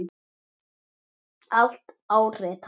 Allt áritað.